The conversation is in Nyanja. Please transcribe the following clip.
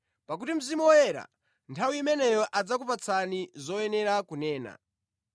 pakuti Mzimu Woyera nthawi imeneyo adzakuphunzitsani zoyenera kunena.”